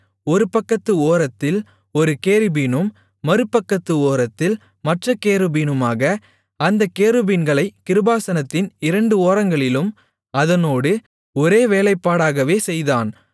ஒருபக்கத்து ஓரத்தில் ஒரு கேருபீனும் மறுபக்கத்து ஓரத்தில் மற்றக் கேருபீனுமாக அந்தக் கேருபீன்களைக் கிருபாசனத்தின் இரண்டு ஓரங்களிலும் அதனோடு ஒரே வேலைப்பாடாகவே செய்தான்